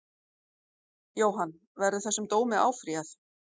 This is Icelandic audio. Jóhann: Verður þessum dómi áfrýjað?